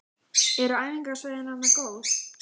Eru æfingasvæðin þarna góð?